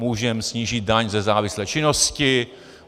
Můžeme snížit daň ze závislé činnosti.